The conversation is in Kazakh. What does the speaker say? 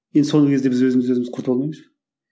енді соңғы кезде біз өзімімізді құртып алмаймыз ба